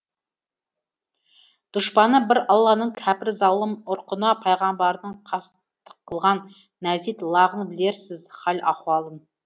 дұшпаны бір алланың кәпір залым ұрқына пайғамбардың қастық қылған нәзит лағын білерсіз хал ахуалын